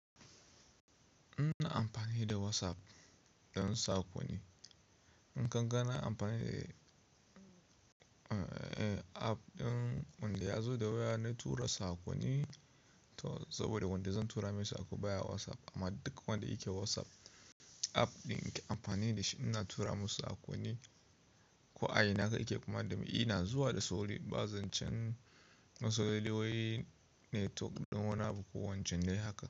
Ina amfani da WhatsApp don saƙoni. In ka ga na amfani da app ɗin wadda ya zo da waya na tura saƙoni to saboda wadda zan tura masa saƙo baya WhatsApp. Amma duk wadda yake WhatsApp app ɗin ke amfani da shi ina tura masa saƙoni. Ko a ina aka ke kuma dame ina zuwa da sauri ba zan cen lallai wai network ɗin wani abu ko wancan dai haka.